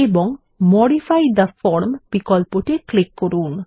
এবং modify the form বিকল্পটি click করুন